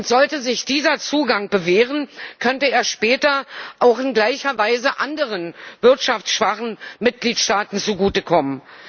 Sollte sich dieser Zugang bewähren, könnte er später in gleicher Weise auch anderen wirtschaftsschwachen Mitgliedstaaten zugutekommen.